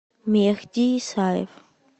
мехди исаев